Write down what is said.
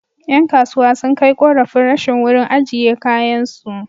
Ƴan kasuwa sun kai ƙorafin rashin wurin ajiye kayansu.